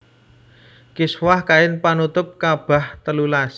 Kiswah kain panutup ka bah telulas